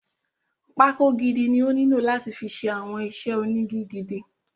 Pákó gidi ni ó nílò láti fi ṣe àwọn iṣẹ́ ónigi gidi.